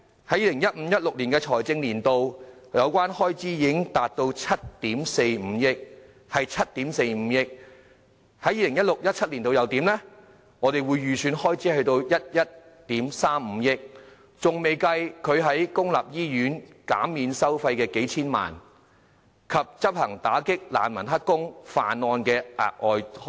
在 2015-2016 財政年度，有關開支達到7億 4,500 萬元；而在 2016-2017 財政年度，預算開支為11億 3,500 萬元；尚未計算公立醫院減免收費的數千萬元，以及執行打擊難民當"黑工"和犯案行動的額外開支。